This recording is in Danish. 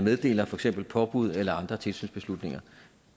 meddeler for eksempel påbud eller andre tilsynsbeslutninger